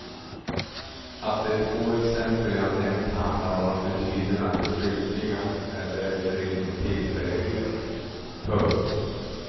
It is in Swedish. Att de två exempel jag nämnt handlar om attityderna till flyktingar är därför ingen tillfällighet. punkt